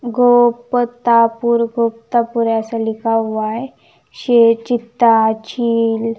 गोपतापुर गोप्तापूर ऐसा लिखा हुआ है शेर चीता चिल--